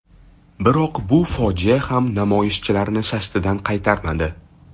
Biroq bu fojia ham namoyishchilarni shashtidan qaytarmadi.